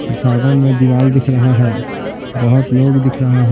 में दीवार दिख रहा है बहुत लोग दिख रहा है।